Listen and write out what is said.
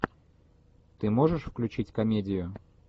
ты можешь включить комедию